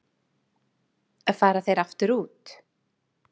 Fara þeir aftur út